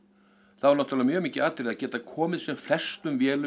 þá er náttúrulega mjög mikið atriði að geta komið sem flestum vélum